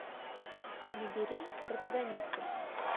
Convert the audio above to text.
набери протагонисты